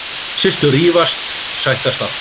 Systur rífast, sættast aftur.